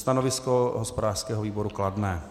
Stanovisko hospodářského výboru kladné.